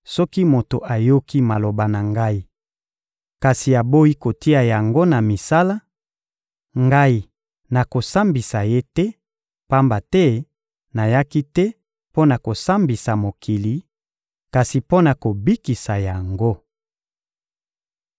Soki moto ayoki maloba na Ngai, kasi aboyi kotia yango na misala, Ngai, nakosambisa ye te; pamba te nayaki te mpo na kosambisa mokili, kasi mpo na kobikisa yango.